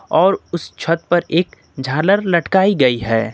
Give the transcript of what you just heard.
और उस छत पर एक झालर लटकाई गई है।